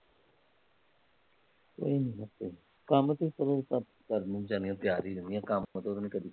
ਕੰਮ ਤਾਂ ਕਰਨ ਨੂੰ ਵਿਚਾਰਿਆਂ ਤਿਆਰ ਈ ਰਹਿੰਦੀਆਂ, ਕੰਮ ਤੋਂ ਤਾਂ ਨਾਹ ਕਦੀ